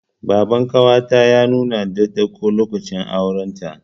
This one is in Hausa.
Baban ƙawata ya nuna dattako, lokacin auren ta.